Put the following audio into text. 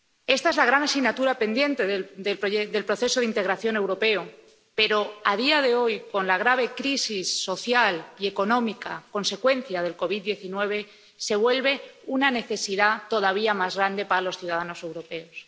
Esta es la gran asignatura pendiente del proceso de integración europeo, pero, en la actualidad, con la grave crisis social y económica consecuencia de la COVID 19, se vuelve una necesidad todavía más grande para los ciudadanos europeos.